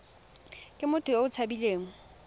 ke motho yo o tshabileng